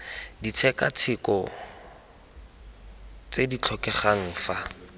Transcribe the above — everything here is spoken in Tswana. ditshekatsheko tse di tlhokegang fa